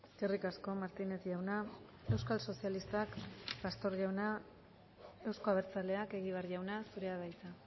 eskerrik asko martínez jauna euskal sozialistak pastor jauna euzko abertzaleak egibar jauna zurea da hitza